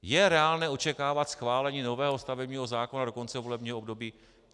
Je reálné očekávat schválení nového stavebního zákona do konce volebního období?